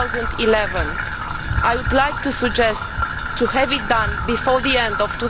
2011. I would like to suggest having it done before the end of